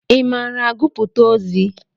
Ị maara agụpụta ozi?